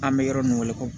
An bɛ yɔrɔ min kɔnɔ